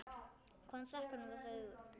Hvaðan þekkir hún þessi augu?